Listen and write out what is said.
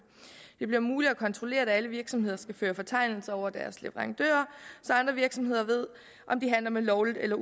det bliver muligt at kontrollere for alle virksomheder skal føre fortegnelser over deres leverandører så andre virksomheder ved om de handler med ulovligt eller